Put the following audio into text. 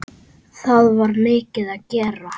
Það var mikið að gera.